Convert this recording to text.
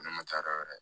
Ne ma taa yɔrɔ wɛrɛ